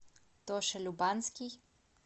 тоша любанский